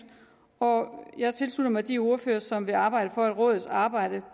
og jeg tilslutter mig de ordførere som vil arbejde for at rådets arbejde